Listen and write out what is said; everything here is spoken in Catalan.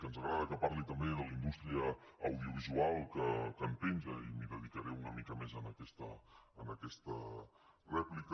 ens agrada que parli també de la indústria audiovisual que en penja i m’hi dedicaré una mica més en aquesta rèplica